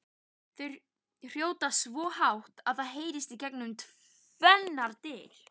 Þau hrjóta svo hátt að það heyrist gegnum tvennar dyr!